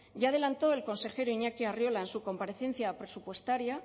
ya adelantó el consejero iñaki arriola en su comparecencia presupuestaria